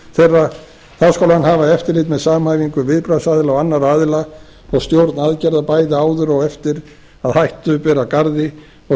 þá skal hann hafa eftirlit með samhæfingu viðbragðsaðila og annarra aðila og stjórn aðgerða bæði áður og eftir að hættu ber að garði og